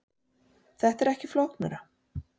Þetta er ekki flóknara